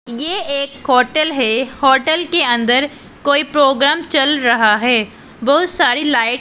ये एक होटल है होटल के अंदर कोई प्रोग्राम चल रहा है बहुत सारी लाइट --